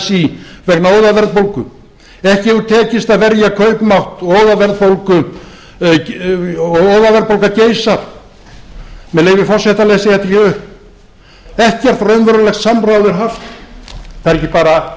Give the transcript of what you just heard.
así vegna óðaverðbólgu ekki hefur tekist að verja kaupmátt og óðaverðbólga geisar með leyfi forseta les ég þetta hér upp ekkert raunverulegt samráð er haft það er